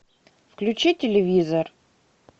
включи телевизор